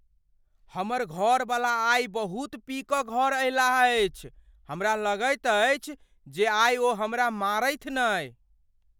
हमर घरबला आइ बहुत पी कऽ घर अयलाह अछि। हमरा लगैत अछि जे आइ ओ हमरा मारथि नहि।